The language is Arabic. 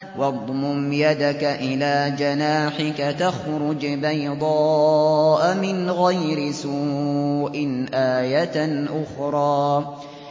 وَاضْمُمْ يَدَكَ إِلَىٰ جَنَاحِكَ تَخْرُجْ بَيْضَاءَ مِنْ غَيْرِ سُوءٍ آيَةً أُخْرَىٰ